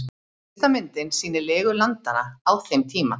Fyrsta myndin sýnir legu landanna á þeim tíma.